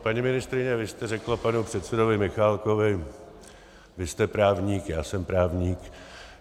Paní ministryně, vy jste řekla panu předsedovi Michálkovi: Vy jste právník, já jsem právník.